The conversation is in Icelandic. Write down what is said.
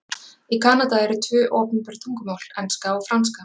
Í Kanada eru tvö opinber tungumál, enska og franska.